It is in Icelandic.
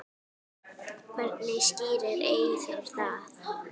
Hvernig skýrir Eyþór það?